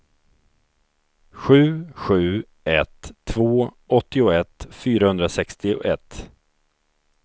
sju sju ett två åttioett fyrahundrasextioett